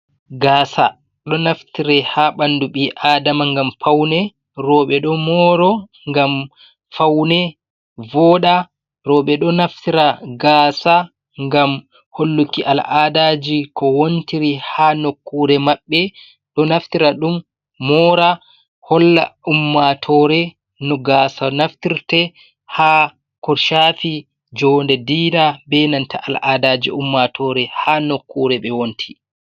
Gaasa ɗo naftire ha ɓandu ɓi adama ngam faune. Rooɓe ɗo moro ngam faune voda, rooɓe ɗo naftira gaasa ngam holluki al'adaji ko wontiri ha nokkure maɓɓe, ɗo naftira ɗum mora holla ummatore no gaasa naftirte ha ko shafi joode dina be nanta al'adaji ummatore ha nokkure ɓe wonti.